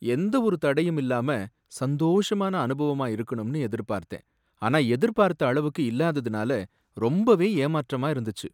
எந்த ஒரு தடையும் இல்லாம சந்தோஷமான அனுபவமா இருக்கணும்னு எதிர்பார்த்தேன், ஆனா எதிர்பார்த்த அளவுக்கு இல்லாததுனால ரொம்பவே ஏமாற்றமா இருந்துச்சு.